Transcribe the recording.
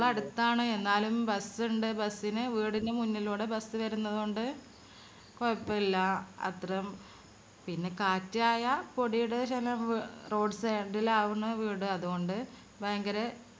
school അടുത്താണ് എന്നാലും bus ഇണ്ട് bus ന് വീടിന് മുന്നിലൂടെ bus വരുന്നതോണ്ട് കുഴപ്പില്ല അത്ര പിന്നെ കാറ്റ് ആയ പൊടിയുടെ ശല്യം road side ഇളാവുന്നു വീട് അതൊണ്ട് ഭയങ്കര